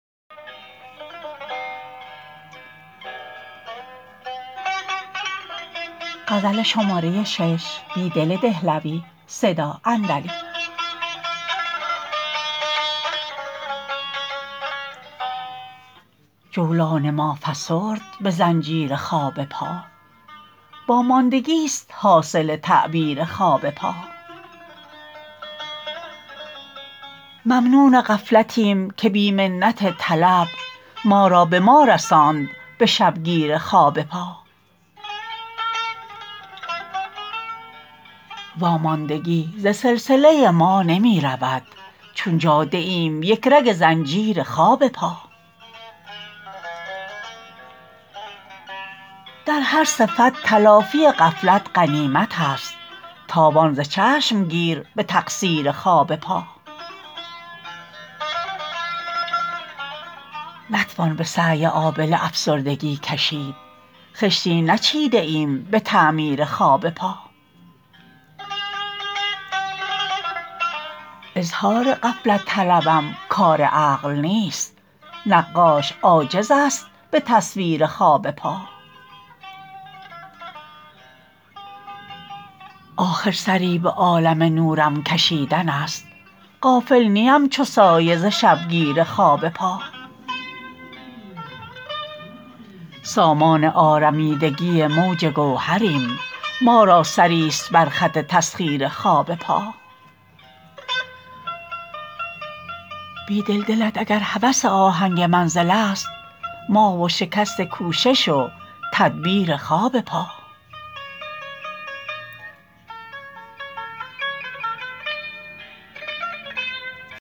جولان ما فسرد به زنجیر خواب پا واماندگی ست حاصل تعبیر خواب پا ممنون غفلتیم که بی منت طلب ما را به ما رساند به شبگیر خواب پا واماندگی ز سلسله ما نمی رود چون جاده ایم یک رگ زنجیر خواب پا در هر صفت تلافی غفلت غنیمت است تاوان ز چشم گیر به تقصیر خواب پا نتوان به سعی آبله افسردگی کشید خشتی نچیده ایم به تعمیر خواب پا اظهار غفلت طلبم کار عقل نیست نقاش عاجزست به تصویر خواب پا آخر سری به عالم نورم کشیدن است غافل نی ام چو سایه ز شبگیر خواب پا سامان آرمیدگی موج گوهریم ما را سری ست برخط تسخیرخواب پا بیدل دلت اگرهوس آهنگ منزل است ما و شکست کوشش وتدبیر خواب پا